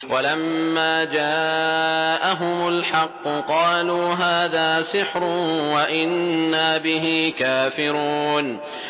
وَلَمَّا جَاءَهُمُ الْحَقُّ قَالُوا هَٰذَا سِحْرٌ وَإِنَّا بِهِ كَافِرُونَ